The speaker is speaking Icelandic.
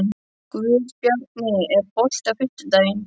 Guðbjarni, er bolti á fimmtudaginn?